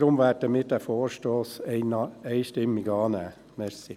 Deshalb werden wir den Vorstoss einstimmig annehmen.